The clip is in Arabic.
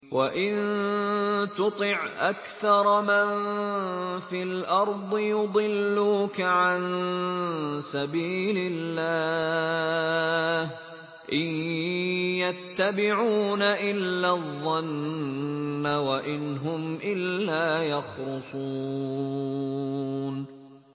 وَإِن تُطِعْ أَكْثَرَ مَن فِي الْأَرْضِ يُضِلُّوكَ عَن سَبِيلِ اللَّهِ ۚ إِن يَتَّبِعُونَ إِلَّا الظَّنَّ وَإِنْ هُمْ إِلَّا يَخْرُصُونَ